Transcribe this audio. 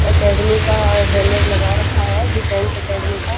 Academy का banner भी लगा रखा है डिफेन्स अकैडमी का।